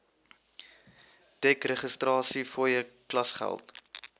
dek registrasiefooie klasgeld